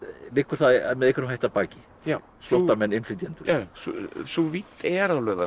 liggur það með einhverjum hætti að baki flóttamenn innflytjendur já sú vídd er